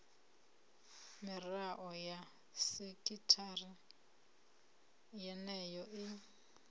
mirao ya sekithara yeneyo i